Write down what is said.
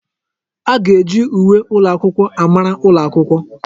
A ga-eji uwe ụlọakwụkwọ amara ụlọ akwụkwọ.